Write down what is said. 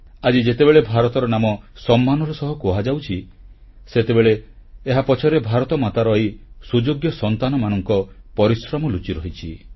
ଆଜି ଯେତେବେଳେ ଭାରତର ନାମ ସମ୍ମାନର ସହ କୁହାଯାଉଛି ସେତେବେଳେ ଏହାପଛରେ ଭାରତମାତାର ଏହି ସୁଯୋଗ୍ୟ ସନ୍ତାନମାନଙ୍କ ପରିଶ୍ରମ ଲୁଚି ରହିଛି